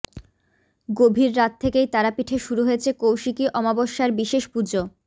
গভীর রাত থেকেই তারাপীঠে শুরু হয়েছে কৌশিকী আমাবস্যার বিশেষ পুজো